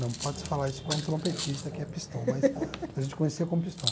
Não pode se falar isso para um trompetista, que é pistão, mas a gente conhecia como pistão.